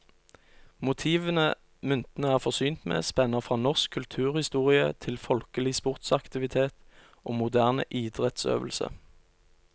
Motivene myntene er forsynt med, spenner fra norsk kulturhistorie til folkelig sportsaktivitet og moderne idrettsøvelse.